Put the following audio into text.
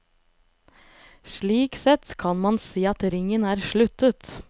Slik sett kan man si at ringen er sluttet.